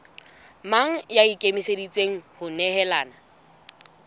mang ya ikemiseditseng ho nehelana